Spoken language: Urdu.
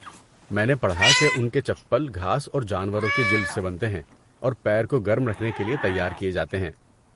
میں نے پڑھا کہ ان کے چپل گھاس اور جانوروں کے جلد سے بنتے ہیں اور پیر کو گرم رکھنے کے لیے تیار کیے جاتے ہیں۔